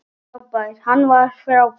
Hann var frábær.